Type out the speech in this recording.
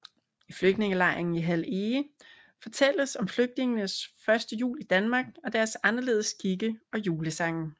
I flygtningelejren i Hald Ege fortælles om flygtningenes første jul i Danmark deres anderledes skikke og julesange